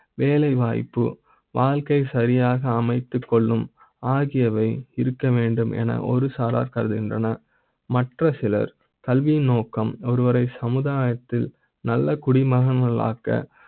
வேலைவாய்ப்பு வாழ்க்கையை சரியாக அமைத்துக் கொள்ளும் ஆகியவை இருக்க வேண்டும் என ஒரு சாரார் கருதுகின்றனர். மற்ற சிலர் கல்வி நோக்க ம் ஒருவரை சமுதாய த்தில் நல்ல குடிமகன்களாக